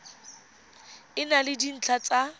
e na le dintlha tsa